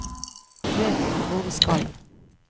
Han vet ikke hvor vi skal.